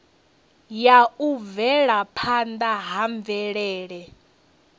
ya u bvelaphanda ha mvelele